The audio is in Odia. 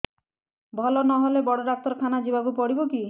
ଭଲ ନହେଲେ ବଡ ଡାକ୍ତର ଖାନା ଯିବା କୁ ପଡିବକି